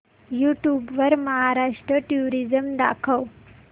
YouTube वर Maharashtra tourism दाखव